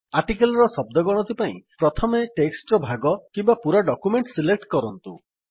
article ର ଶଦ୍ଦ ଗଣତି ପାଇଁ ପ୍ରଥମେ ଟେକ୍ସଟ୍ ର ଭାଗ କିମ୍ୱା ପୁରା ଡକ୍ୟୁମେଣ୍ଟ୍ ସିଲେକ୍ଟ କରନ୍ତୁ